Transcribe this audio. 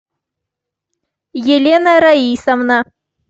елена раисовна